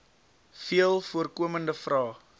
veel voorkomende vrae